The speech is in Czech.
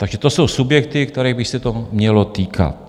Takže to jsou subjekty, kterých by se to mělo týkat.